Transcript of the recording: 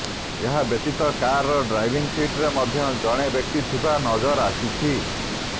ଏହା ବ୍ୟତୀତ କାରର ଡ୍ରାଇଭିଂ ସିଟରେ ମଧ୍ୟ ଜଣେ ବ୍ୟକ୍ତି ଥିବା ନଜର ଆସିଛି